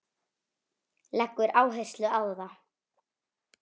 Leggur áherslu á það.